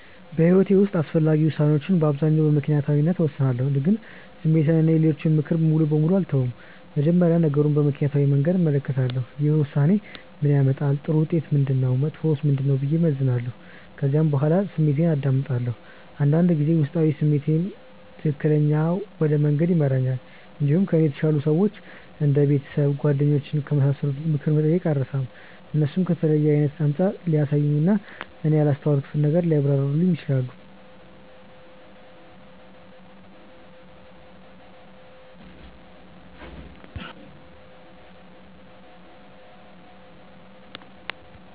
በሕይወቴ ውስጥ አስፈላጊ ውሳኔዎችን በአብዛኛው በምክንያታዊነት እወስናለሁ፣ ግን ስሜትን እና የሌሎችን ምክር ሙሉ በሙሉ አልተውም። መጀመሪያ ነገሩን በምክንያታዊ መንገድ እመለከታለሁ። ይህ ውሳኔ ምን ያመጣል? ጥሩ ውጤቱ ምንድነው? መጥፎውስ ምንድነው? ብዬ እመዝናለሁ። ከዚያ በኋላ ስሜቴን አዳምጣለሁ። አንዳንድ ጊዜ ውስጣዊ ስሜት ትክክለኛ ወደ መንገድ ይመራል። እንዲሁም ከእኔ የተሻሉ ሰዎች እንደ ቤተሰብ፣ ጓደኞች ከመሳሰሉት ምክር መጠየቅን አልርሳም። እነሱ ከተለየ አይነት አንጻር ሊያሳዩኝ እና እኔ ያላስተዋልኩትን ነገር ሊያብራሩልኝ ይችላሉ።